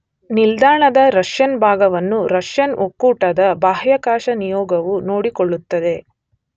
ನಿಲ್ದಾಣದ ರಷ್ಯನ್ ಭಾಗವನ್ನು ರಷ್ಯನ್ ಒಕ್ಕೂಟದ ಬಾಹ್ಯಾಕಾಶ ನಿಯೋಗವು ನೋಡಿಕೊಳ್ಳುತ್ತದೆ